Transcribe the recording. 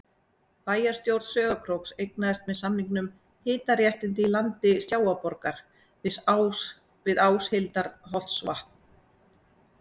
Bæjarstjórn Sauðárkróks eignaðist með samningum hitaréttindi í landi Sjávarborgar við Áshildarholtsvatn.